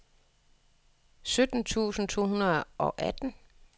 sytten tusind to hundrede og atten